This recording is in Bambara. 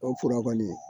O fura kɔni